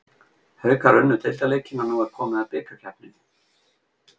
Haukar unnu deildarleikinn og nú er komið að bikarkeppninni.